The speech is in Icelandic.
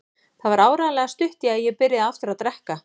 Það var áreiðanlega stutt í að ég byrjaði aftur að drekka.